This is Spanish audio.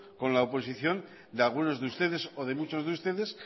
con la oposición de algunos de ustedes o de muchos de ustedes